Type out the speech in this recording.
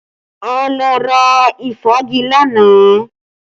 A lọ ra ìfági lánàá